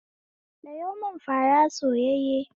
Sayo mun fara soyayye